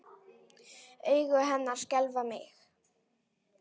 Augu hennar skelfa mig.